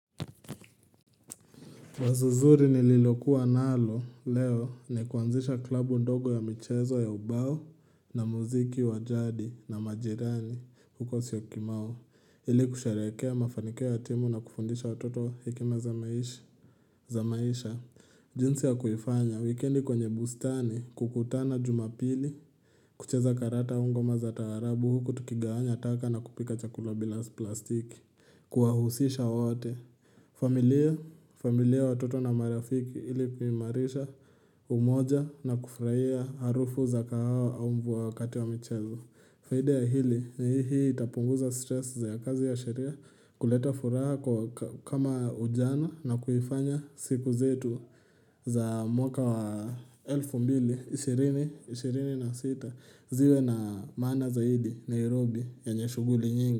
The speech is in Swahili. Wazo zuri nililokuwa nalo leo ni kuanzisha klabu ndogo ya michezo ya ubao, na muziki wa jadi na majirani huko syokimau, ili kusheherekea mafanikio ya timu na kufundisha watoto hekima za maisha jinsi ya kuifanya, wikendi kwenye bustani, kukutana jumapili, kucheza karata au ngoma za taarabu huku tukigawanya taka na kupika chakula bila plastiki, kuwahusisha wote, familia; familia watoto na marafiki ili kuimarisha umoja na kufurahia harufu za kahawa au mvua wakati wa michezo. Faida ya hili, ni hii itapunguza stresi za kazi ya sheria, kuleta furaha kama ujana na kuifanya siku zetu za mwaka wa 2026 ziwe na maana zaidi, Nairobi yenye shughuli nyingi.